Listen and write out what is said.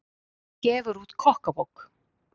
Gefur út kokkabók